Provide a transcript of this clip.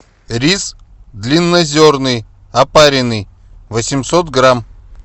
рис длиннозерный опаренный восемьсот грамм